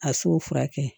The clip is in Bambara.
A so furakɛ